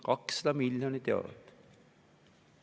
200 miljonit eurot!